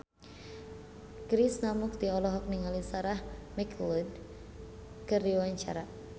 Krishna Mukti olohok ningali Sarah McLeod keur diwawancara